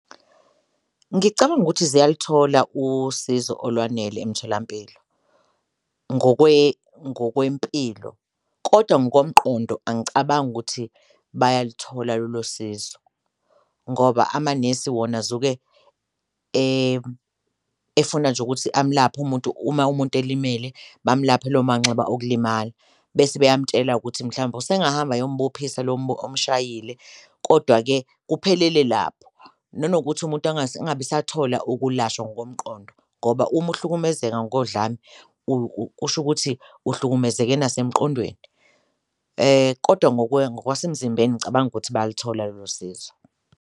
Ngicabanga ukuthi ziyaluthola usizo olwanele emtholampilo ngokwempilo kodwa ngokomqondo angicabangi ukuthi bayaluthola lolo sizo ngoba amanesi wona azuke efuna nje ukuthi amlaphe umuntu, uma umuntu elimele bamlaphe lawo manxeba okulimala bese beyamtshela ukuthi mhlawumbe usengahamba ayombophisa lo omshayisile kodwa-ke kuphelele lapho. Nanokuthi umuntu angabe esathola ukulashwa ngokomqondo ngoba uma uhlukumezeka ngodlame kusho ukuthi uhlukumezeke nasemqondweni, kodwa ngokwasemzimbeni ngicabanga ukuthi bayaluthola lolo sizo.